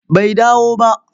Bai dawo ba.